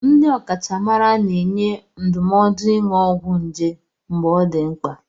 Ndị ọkachamara na-enye ndụmọdụ ịnụ ọgwụ nje mgbe ọ dị mkpa.